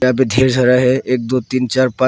यहां पे ढेर सारा है एक दो तीन चार पांच।